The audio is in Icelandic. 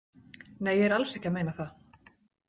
Nei, ég er alls ekki að meina það.